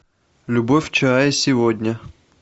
любовь вчера и сегодня